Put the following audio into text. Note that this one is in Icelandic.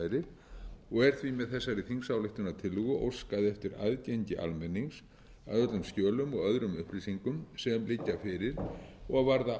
áhrærir og er því með þessari þingsályktunartillögu óskað eftir aðgengi almennings að öllum skjölum og öðrum upplýsingum sem liggja fyrir og varða ákvörðun um stuðning íslenskra stjórnvalda við